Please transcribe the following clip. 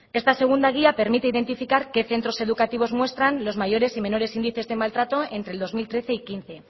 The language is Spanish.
esta segunda guía permite identificar qué centros educativos muestran los mayores y menores índices de maltrato entre el dos mil trece y dos mil quince